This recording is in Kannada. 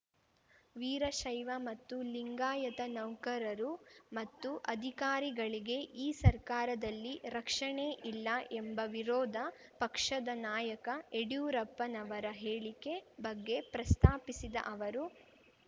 ವೀರಶೈವ ಮತ್ತು ಲಿಂಗಾಯತ ನೌಕರರು ಮತ್ತು ಅಧಿಕಾರಿಗಳಿಗೆ ಈ ಸರ್ಕಾರದಲ್ಲಿ ರಕ್ಷಣೆ ಇಲ್ಲ ಎಂಬ ವಿರೋಧ ಪಕ್ಷದ ನಾಯಕ ಯಡಿಯೂರಪ್ಪನವರ ಹೇಳಿಕೆ ಬಗ್ಗೆ ಪ್ರಸ್ತಾಪಿಸಿದ ಅವರು